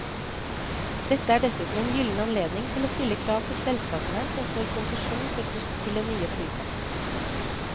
Dette er dessuten en gylden anledning til å stille krav til selskapene som får konsesjon for buss til den nye flyplassen.